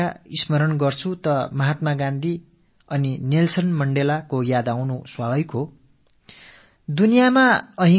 தென்னாப்பிரிக்காவைப் பற்றி நினைக்கும் போது காந்தியடிகள் நெல்ஸன் மண்டேலா ஆகியோர் பற்றிய நினைவுகள் மனதில் எழுவது என்பது இயல்பான ஒன்று